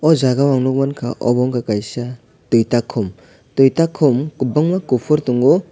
oh jagao ang nukmankha obo ungkha kaisa tuitakhum tuitakhum kwbangma kuphur tongo.